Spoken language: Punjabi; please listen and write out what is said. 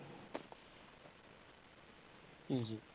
ਜੀ ਜੀ।